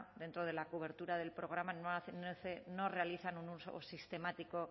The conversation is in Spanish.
dentro de la cobertura del programa no realizan un uso sistemático